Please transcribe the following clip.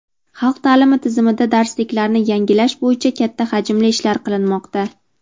Xalq taʼlimi tizimida darsliklarni yangilash bo‘yicha katta hajmli ishlar qilinmoqda.